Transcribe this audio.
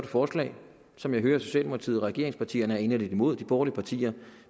forslag som jeg hører at socialdemokratiet og regeringspartierne er inderligt imod de borgerlige partier